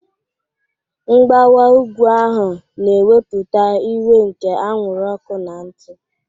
Mgbawa ugwu ahu na-ewepụta iwe nke anwụrụ ọkụ na ntụ.